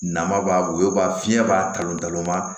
Nama b'a woyo ba fiɲɛ b'a kalo dalon ma